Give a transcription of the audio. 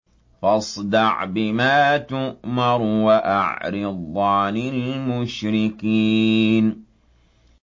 فَاصْدَعْ بِمَا تُؤْمَرُ وَأَعْرِضْ عَنِ الْمُشْرِكِينَ